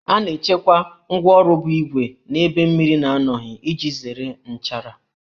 A na-echekwa ngwáọrụ bụ ígwè n'ebe mmiri na-anọghị iji zere nchara